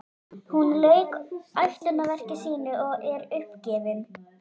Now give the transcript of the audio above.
Hún lauk ætlunarverki sínu og er uppgefin.